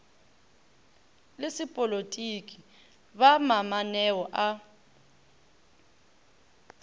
le sepolotiki ba mamaneo a